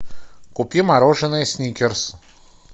купи мороженое сникерс